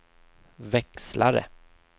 växlare